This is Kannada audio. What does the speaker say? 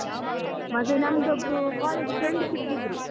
ಮತ್ತೆ ನಮ್ದೊಬ್ರು college friend ಸಿಕ್ಕಿದ್ರು.